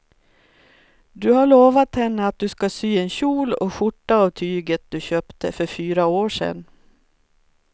Du har lovat henne att du ska sy en kjol och skjorta av tyget du köpte för fyra år sedan.